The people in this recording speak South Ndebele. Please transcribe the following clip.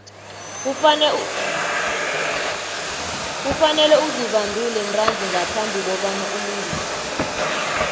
kufanele uzibandule ntanzi ngaphambi kobana ulingise